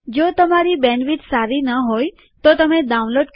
જો તમારી બેન્ડવિડ્થ સારી ન હોય તો તમે ડાઉનલોડ કરી તે જોઈ શકો છો